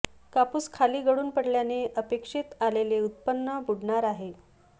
कापूस खाली गळून पडल्याने अपेक्षित आलेले उत्पन्न बुडणार आहे